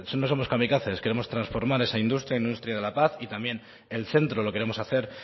no somos camicaces queremos transformar esa industria industria de la paz y también el centro lo queremos hacer